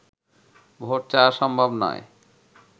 vote চাওয়া সম্ভব নয়